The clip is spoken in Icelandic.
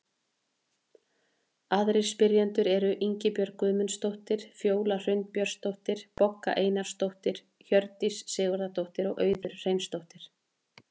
Aðrir spyrjendur eru: Ingibjörg Guðmundsdóttir, Fjóla Hrund Björnsdóttir, Bogga Einarsdóttir, Hjördís Sigurðardóttir og Auður Hreinsdóttir.